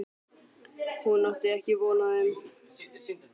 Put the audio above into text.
Hún átti ekki von á þeim.